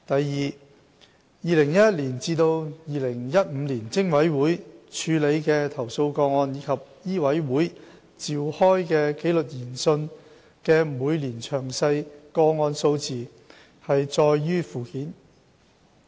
二2011年至2015年，偵委會處理的投訴個案及醫委會召開的紀律研訊的每年詳細個案數字載於附件。